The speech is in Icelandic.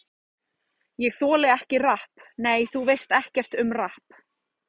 Ég þoli ekki rapp Nei, þú veist ekkert um rapp.